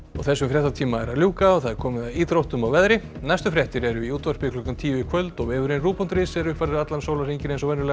þessum fréttatíma er að ljúka og það er komið að íþróttum og veðri næstu fréttir eru í útvarpi klukkan tíu í kvöld og vefurinn rúv punktur is er uppfærður allan sólarhringinn